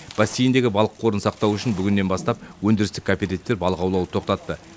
бассейндегі балық қорын сақтау үшін бүгіннен бастап өндірістік коопертивтер балық аулауды тоқтатты